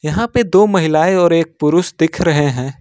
यहां पे दो महिलाएं और एक पुरुष दिख रहे हैं।